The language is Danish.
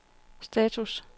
status